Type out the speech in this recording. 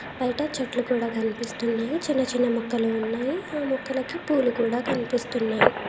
బయట చెట్లు కూడా కనిపిస్తున్నాయి చిన్న చిన్న ముక్కలు ఉన్నాయి ఆ మొక్కలకి పూలు కూడా కనిపిస్తున్నాయి.